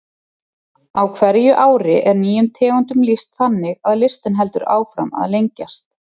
Á hverju ári er nýjum tegundum lýst þannig að listinn heldur áfram að lengjast.